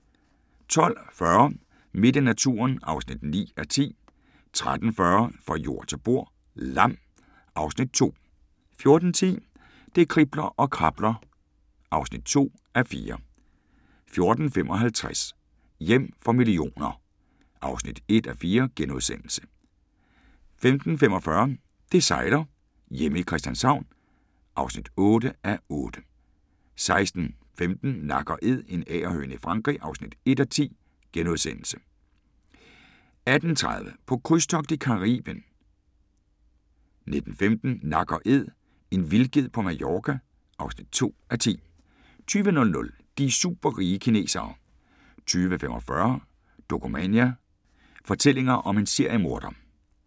12:40: Midt i naturen (9:10) 13:40: Fra jord til bord: Lam (Afs. 2) 14:10: Det kribler og krabler (2:4) 14:55: Hjem for millioner (1:4)* 15:45: Det sejler - hjemme i Christianshavn (8:8) 16:15: Nak & Æd – en agerhøne i Frankrig (1:10)* 18:30: På krydstogt i Caribien 19:15: Nak & Æd – en vildged på Mallorca (2:10) 20:00: De superrige kinesere 20:45: Dokumania: Fortællinger om en seriemorder